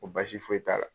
Ko baasi foyi t'a la